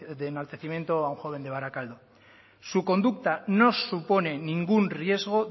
de enaltecimiento a un joven de barakaldo su conducta no supone ningún riesgo